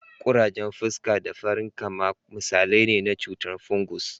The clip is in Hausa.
Kurajen fuska da farankama misalai ne na cutar fungus.